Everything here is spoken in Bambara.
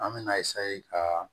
An me na ka